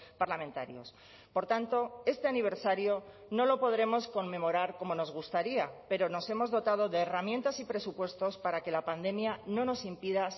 parlamentarios por tanto este aniversario no lo podremos conmemorar como nos gustaría pero nos hemos dotado de herramientas y presupuestos para que la pandemia no nos impida